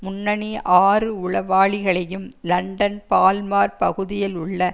முன்னணி ஆறு உளவாளிகளையும் லண்டன் பால்மார் பகுதியில் உள்ள